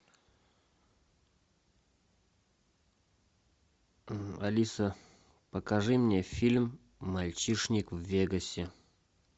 алиса покажи мне фильм мальчишник в вегасе